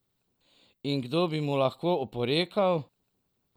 In kdo bi mu lahko oporekal?